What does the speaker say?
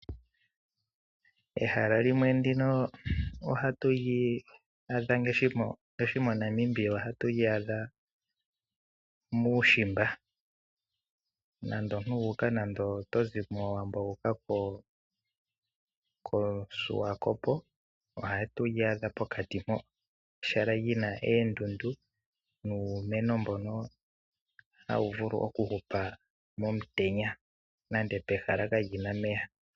Ehala limwe ndino ohatu li adha ngaashi mo Namibia ohatu li adha muushimba nando omuntu wuuka nando omuntu tozimo mowaambo wuka Koshiwakopo ohatu li adha pokati mpoo ehala lina oondundu nuumeno mbono hawu vulu okuhupa momutenya nande pehala kaapena omeya.